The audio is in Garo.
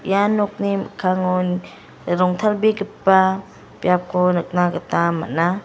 ia nokni mikkangon rongtalbegipa biapko nikna gita man·a.